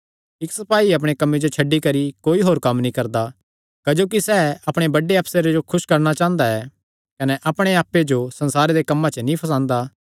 इक्क सपाई अपणे कम्मे जो छड्डी करी होर कोई कम्म नीं करदा क्जोकि सैह़ अपणे बड्डे अफसरे जो खुस करणा चांह़दा ऐ कने अपणे आप्पे जो संसारे दे कम्मां च नीं फसांदा